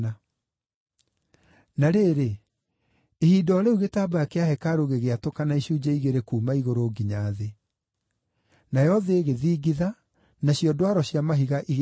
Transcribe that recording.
Na rĩrĩ, ihinda o rĩu gĩtambaya kĩa hekarũ gĩgĩatũkana icunjĩ igĩrĩ kuuma igũrũ nginya thĩ. Nayo thĩ ĩgĩthingitha, nacio ndwaro cia mahiga igĩatũkana.